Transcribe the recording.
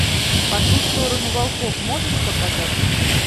по ту сторону волков можешь показать